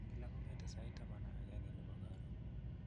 Eng kila kong'ete sait taman ak agenge nepo karoon